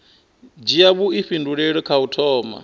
dzhia vhuifhinduleli kha u thoma